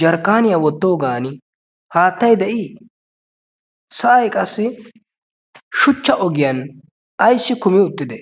jarkkaniya wottogan haatay de'i? sa'ay aqassi shuchcha ogiyaan ayssi kummi uttide?